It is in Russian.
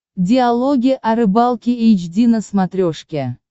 диалоги о рыбалке эйч ди на смотрешке